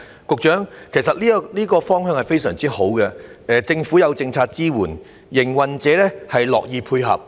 局長，其實這是非常好的方向，政府提供政策支援，營辦商也樂意配合。